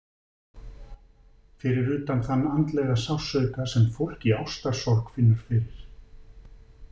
Fyrir utan þann andlega sársauka sem fólk í ástarsorg finnur fyrir.